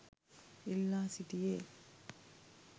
ඉල්ලා සිටියේ